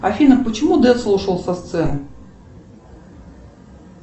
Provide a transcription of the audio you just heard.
афина почему децл ушел со сцены